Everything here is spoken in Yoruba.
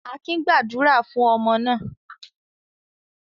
Akin gba àdúrà fún ọmọ náà.